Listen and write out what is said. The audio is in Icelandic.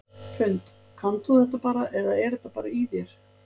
Hrund: Kannt þú þetta bara eða er þetta bara í þér?